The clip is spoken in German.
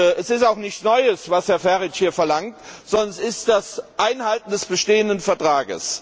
Es ist auch nichts Neues, was Herr Farage hier verlangt, sondern es ist das Einhalten des bestehenden Vertrags.